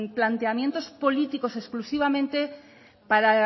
planteamientos políticos exclusivamente para